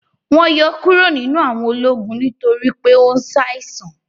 Wọn yọ kùro ninu àwọn ólogun nitori pe o ṣàisan